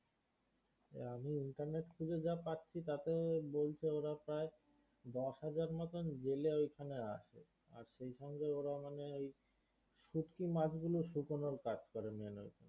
আমি internet খুঁজে যা পাচ্ছি তাতে বলছে ওরা প্রায় দশ হাজার মতো জেলে ওইখানে আসে আর সেই সঙ্গে ওরা মানে ওই শুটকি মাছ গুলো শুকোনোর কাজ করে